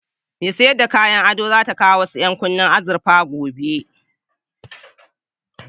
Mai sayar da kayan ado za ta kawo wasu ƴankunne na azurfa gobe.